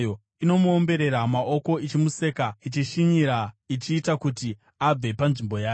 Inomuomberera maoko ichimuseka, ichishinyira ichiita kuti abve panzvimbo yake.